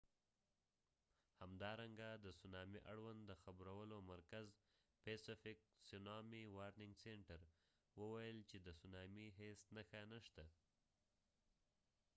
همدارنګه د سونامي اړوند د خبرولو مرکز pacific tsunami warning center وویل چې د سونامی هیڅ نښه نشته